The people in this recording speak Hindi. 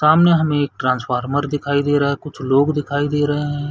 सामने हमें एक ट्रांसफार्मर दिखाई दे रहा है कुछ लोग दिखाई दे रहै है।